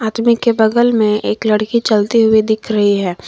सभी के बगल में एक लड़की चलती हुई दिख रही है।